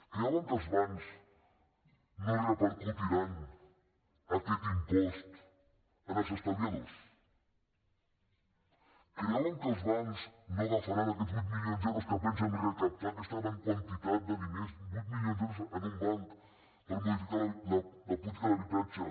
creuen que els bancs no repercutiran aquest impost als estalviadors creuen que els bancs no agafaran aquests vuit milions d’euros que pensen recaptar aquesta gran quantitat de diners vuit milions d’euros en un banc per modificar la política d’habitatge